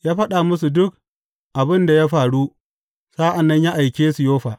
Ya fada musu duk abin da ya faru sa’an nan ya aike su Yoffa.